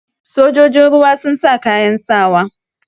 Sojojin ruwa sun sa kayan sawa.